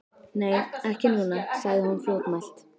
Nei, ekki núna, sagði hún fljótmælt.